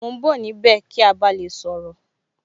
Mo ń bọ̀ níbẹ̀ kí a ba lè sọ̀rọ̀